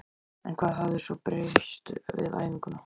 En hvað hafði svo breyst við fæðinguna?